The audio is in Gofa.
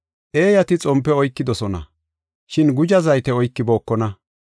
Eeyati xompe oykidosona, shin guzha zayte oykibookona.